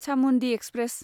Chamundi express